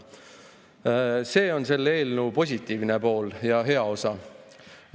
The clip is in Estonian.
See on selle eelnõu positiivne pool ja hea osa.